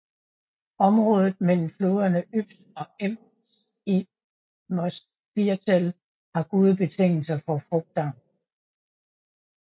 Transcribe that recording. Området mellem floderne Ybbs og Enns i Mostviertel har gode betingelser for frugtavl